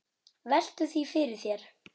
Veltu því fyrir þér.